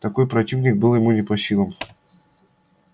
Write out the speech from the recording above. такой противник был ему не по силам